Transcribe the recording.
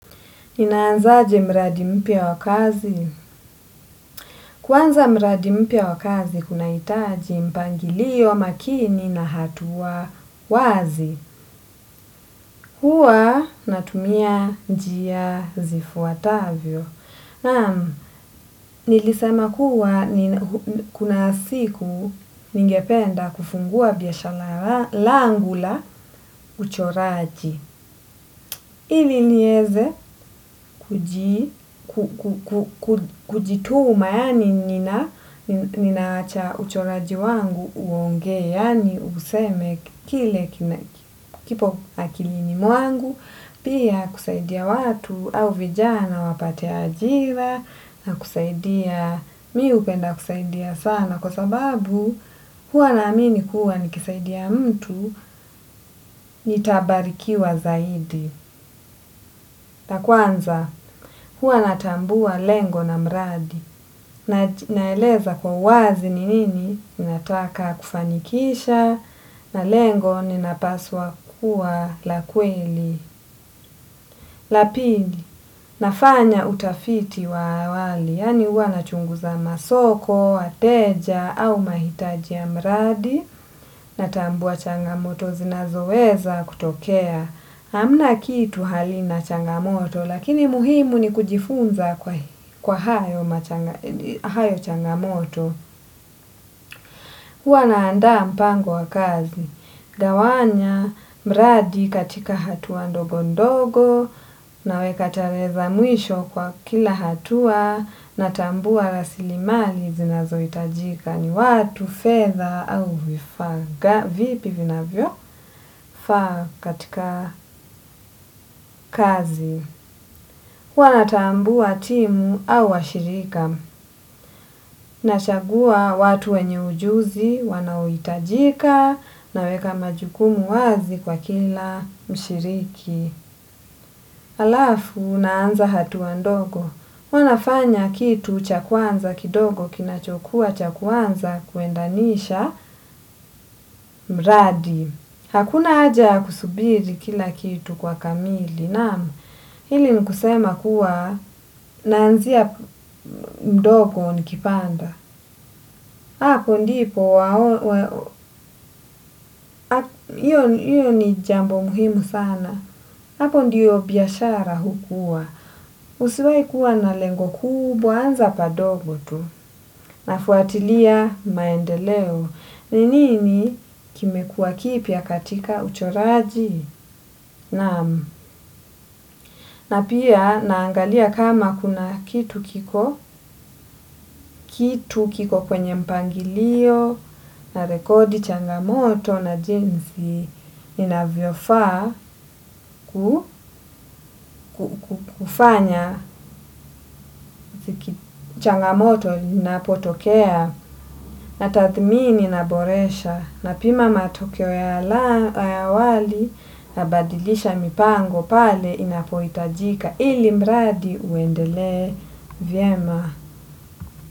Ninaanzaje mradi mpya wakazi. Kwanza mradi mpya wakazi, huna itaji mpangilio makini na hatuwa wazi. Hua natumia njia zifuatavyo. Nam, nilisema kuwa kuna siku ningependa kufungua biyashala langula uchoraji. Ili nieze kujituma yani ninawacha uchoraji wangu uongee yani useme kile kinaki kipo akilini mwangu, pia kusaidia watu au vijana wapate ajira na kusaidia mi hupenda kusaidia sana. Kwa sababu huwa na amini kuwa nikisaidia mtu nitabarikiwa zaidi. Na kwanza, huwa natambua lengo na mradi. Naeleza kwa wazi ninini, nataka kufanikisha, na lengo ninapaswa kuwa la kweli. Lapili, nafanya utafiti wa awali, yani huwa nachunguza masoko, wateja, au mahitaji ya mradi, natambua changamoto, zinazo weza kutokea. Amna kitu halina changamoto lakini muhimu ni kujifunza kwa hayo changamoto. Huwa naanda mpango wa kazi. Dawanya, mradi katika hatuwa ndogo ndogo na weka tarehe za mwisho kwa kila hatua na tambua rasili mali zinazo itajika ni watu, fedha au vifaga vipi vina vyo? Faa katika kazi huwa natambua timu au washirika. Nachagua watu wenye ujuzi, wanaoitajika, naweka majukumu wazi kwa kila mshiriki. Alafu, naanza hatuwa ndogo. Huwa nafanya kitu chakwanza kidogo kinachokua chakuanza kuendanisha mradi. Hakuna aja ya kusubiri kila kitu kwa kamili. Nam, hili nikusema kuwa naanzia mdogo nikipanda. Hapo ndi po wao, hiyo ni jambo muhimu sana. Hapo ndiyo biashara hukua. Usuai kuwa na lengo kubwa, anza padogo tu. Nafuatilia maendeleo. Ninini kime kuwa kipya katika uchoraji? Nam na pia naangalia kama kuna kitu kiko kitu kiko kwenye mpangilio na rekodi changamoto na jinsi inavyofa kufanya changamoto inapotokea na tathmini inaboresha na pima matokeo ya awali nabadilisha mipango pale inapoitajika ili mradi uendele vyema.